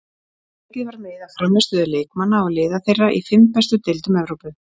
Tekið var mið af frammistöðu leikmanna og liða þeirra í fimm bestu deildum Evrópu.